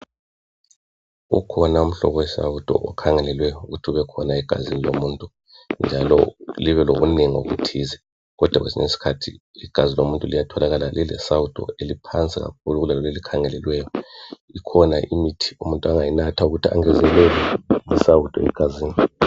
Ukhona umhlobo wesawudo okhangelelwe ukuthi ubekhona egazini lomuntu njalo libelobunengi obuthize kodwa kwesinye isikhathi igazi lomuntu liyatholakala lilesawudo eliphansi kakhulu kulaleli elikhangelelweyo. Ikhona imithi umuntu angayinatha ukuthi angezelele isawudo egazini.